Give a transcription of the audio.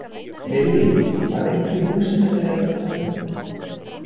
Lillý: Var einhver í húsinu þegar þetta kom upp?